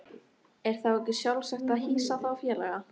Er þá ekki sjálfsagt að hýsa þá félaga?